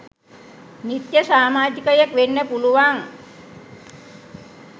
නිත්‍ය සාමාජිකයෙක් වෙන්න පුළුවන්.